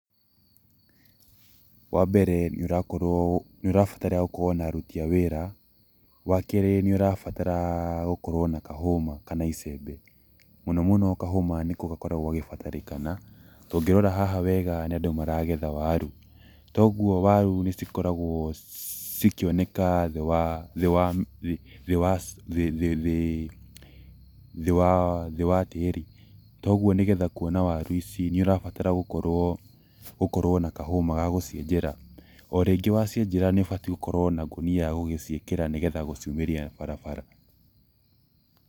Wa mbere, nĩũrabatara gũkorwo na aruti a wĩra. Wa kerĩ, nĩũrabatara gũkorwo na kahũma kana icembe, mũno mũno kahũma nĩko gakoragwo gagĩbatarĩkana, ta ũngĩrora haha wega nĩ andũ maragetha waru toguo waru nĩcikoragwo cikĩoneka thĩ wa tĩri. Toguo nĩgetha kuona waru ici nĩũrabatara gũkorwo na kahũma ga gũcienjera. O rĩngĩ wacienjera nĩũbatiĩ gũkorwo na ngũnia ya gũciĩkĩra, na nĩgetha gũciumĩria barabara.